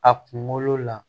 A kunkolo la